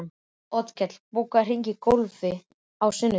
Oddkell, bókaðu hring í golf á sunnudaginn.